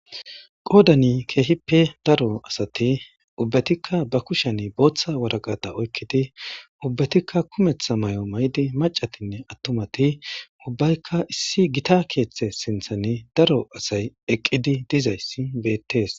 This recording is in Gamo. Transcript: Qodani kehippe daro asati ubatikka ba kusheni botha waraqata oyikidi ubatikka kumeththa mayo mayidi maccatinne ubbati issi gita kethe sinthani daro asayi eqidi dizayisi beteesi